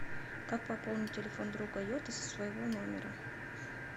как пополнить телефон друга йоты со своего номера